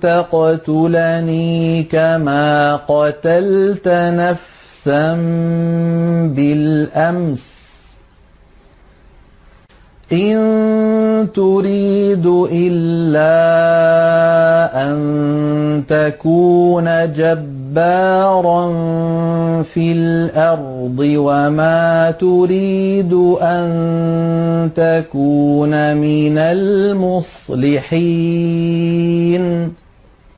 تَقْتُلَنِي كَمَا قَتَلْتَ نَفْسًا بِالْأَمْسِ ۖ إِن تُرِيدُ إِلَّا أَن تَكُونَ جَبَّارًا فِي الْأَرْضِ وَمَا تُرِيدُ أَن تَكُونَ مِنَ الْمُصْلِحِينَ